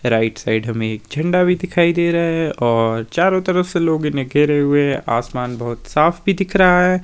Right side हमें झंडा भी दिखाई दे रहा है और चारों तरफ से लोग इन्हें कह रहे हैं आसमान बहोत साफ भी दिख रहा है।